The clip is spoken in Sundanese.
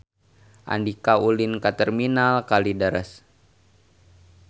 Andika ulin ka Terminal Kalideres